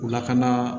U lakana